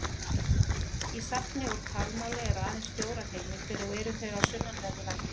Í safni úr talmáli eru aðeins fjórar heimildir og eru þau af sunnanverðu landinu.